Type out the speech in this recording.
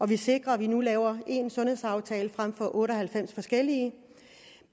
vi sikrer at vi nu laver én sundhedsaftale frem for otte og halvfems forskellige